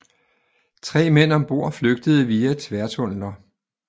Tre mænd om bord flygtede via tværtunneler